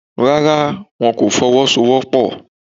Rárá, wọn kò Fọwọ́sowọ́pọ̀